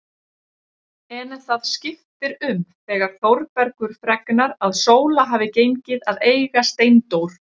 En það skiptir um þegar Þórbergur fregnar að Sóla hafi gengið að eiga Steindór.